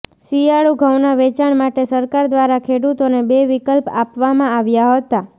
શિયાળુ ઘઉંના વેચાણ માટે સરકાર દ્વારા ખેડૂતોને બે વિકલ્પ આપવામાં આવ્યા હતાં